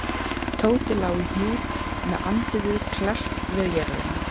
Tóti lá í hnút með andlitið klesst við jörðina.